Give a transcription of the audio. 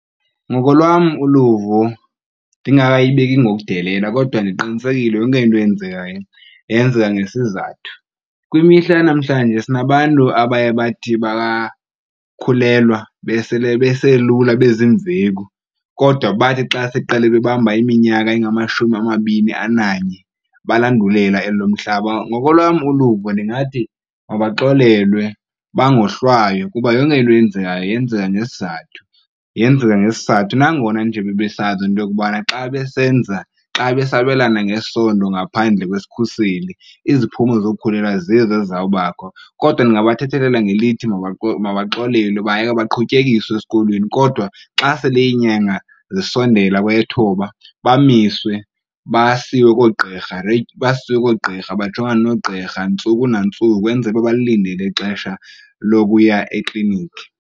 Ngokolwam uluvo, ndingakayibeki ngokudelela, kodwa ndiqinisekile yonke into eyenzekayo yenzeka ngesizathu. Kwimihla yanamhlanje sinabantu abaye bathi bakhulelwa besele beselula beziimveku, kodwa bathi xa sekuqala bebamba iminyaka engamashumi amabini ananye balandulela elo lomhlaba. Ngokolwam uluvo ndingathi mabaxolelwe bangohlwaywa kuba yonke into eyenzekayo yenzeka ngesizathu, yenzeka ngesizathu. Nangona nje bebesazi into yokubana xa besenza, xa besabelana ngesondo ngaphandle kwesikhuseli iziphumo zokukhulelwa zizo ezizawubakho. Kodwa ndingabathethelela ngelithi mabaxolelwe bayekwe baqhutyekiswe esikolweni kodwa xa sele iinyanga zisondela kweyethoba bamiswe basiwe koogqirha basiwe koogqirha bajongane noogqirha ntsuku nantsuku kwenzela uba balilindele ixesha lokuya ekliniki.